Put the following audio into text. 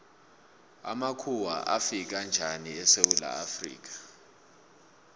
amakhuwa afika njani esewula afrika